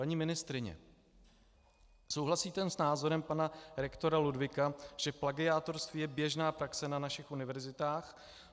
Paní ministryně, souhlasíte s názorem pana rektora Ludwiga, že plagiátorství je běžná praxe na našich univerzitách?